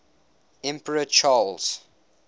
emperor charles